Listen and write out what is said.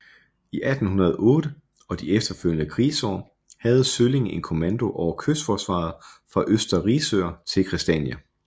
I 1808 og de efterfølgende krigsår havde Sølling en kommando over kystforsvaret fra Øster Risør til Christiania